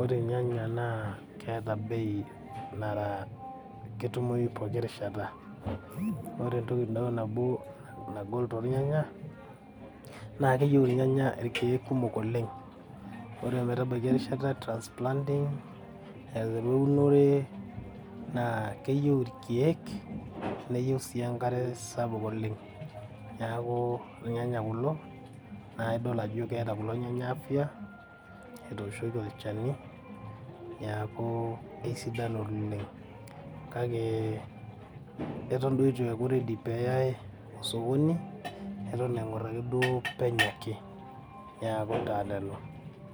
ore irnyanya naa keeta bei nara ketumoyu poki rishata , ore enkilo nabo tookulo nyanya naa keyieu irnyanya irkiek kumok oleng , ore metabaiki esiai etransaplanting aiteru eunore naa keyieu irkiek naa keyieu sii enkare sapuk niaku irnyanya kulo